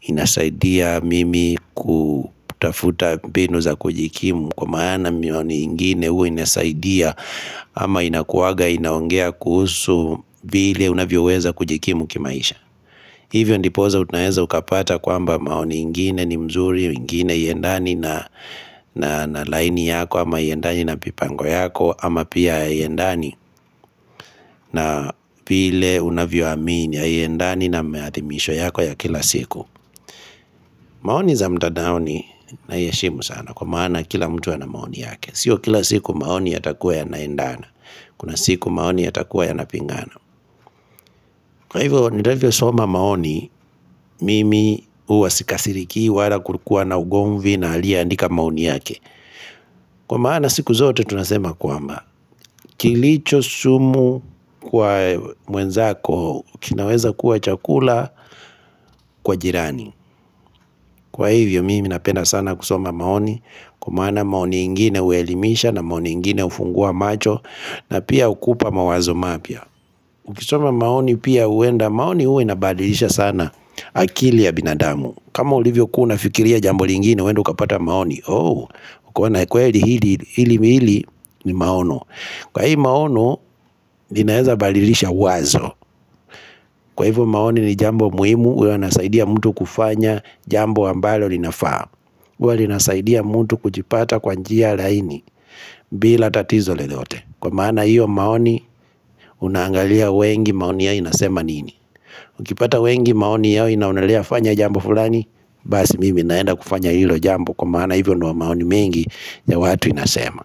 inasaidia mimi kutafuta mbinu za kujikimu Kwa maana maoni ingine hua inasaidia ama inakuwanga inaongea kuhusu vile unavyo weza kujikimu kimaisha Hivyo ndiposa unaweza ukapata kwamba maoni ingine ni mzuri, ingine haiendani na laini yako ama haiendani na mipango yako ama pia haiendani na vile unavyo amini haiendani na miathimisho yako ya kila siku. Maoni za mtandaoni naiheshimu sana kwa maana kila mtu ana maoni yake. Sio kila siku maoni yatakua yanaendana. Kuna siku maoni yatakuwa yanapingana. Kwa hivyo ninavyo soma maoni mimi huwa sikasiriki wala kukuwa na ugomvi na aliye andika maoni yake Kwa maana siku zote tunasema kwamba kilicho sumu kwa mwenzako kinaweza kuwa chakula kwa jirani Kwa hivyo mimi napenda sana kusoma maoni kwa maana maoni ingine huelimisha na maoni ingine hufungua macho na pia hukupa mawazo mapya Ukisoma maoni pia huenda maoni huwa inabadilisha sana akili ya binadamu kama ulivyo kuwa unafikiria jambo lingine huenda ukapata maoni Oh ukaona kweli hili hili hili ni maono Kwa hii maono linaweza badilisha wazo Kwa hivyo maoni ni jambo muhimu huwa wanasaidia mtu kufanya jambo ambalo linafaa huwa linasaidia mtu kujipata kwa njia laini bila tatizo lolote Kwa maana hiyo maoni unaangalia wengi maoni yao inasema nini Ukipata wengi maoni yao inaonelea fanya jambo fulani Basi mimi naenda kufanya hilo jambo kwa maana Hivyo ndio maoni mengi ya watu inasema.